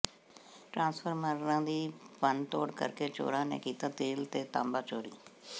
ਟਰਾਂਸਫਾਰਮਰਾਂ ਦੀ ਭੰਨ ਤੋੜ ਕਰ ਕੇ ਚੋਰਾਂ ਨੇ ਕੀਤਾ ਤੇਲ ਤੇ ਤਾਂਬਾ ਚੋਰੀ